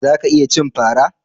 Za ka iya cin fara